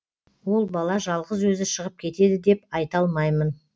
ол бала жалғыз өзі шығып кетеді деп айта алмаймын